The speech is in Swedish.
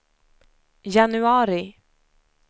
januari